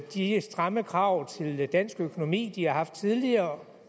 de stramme krav til dansk økonomi de har haft tidligere